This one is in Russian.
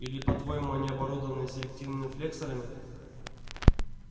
или по-твоему они оборудованы селективными флексорами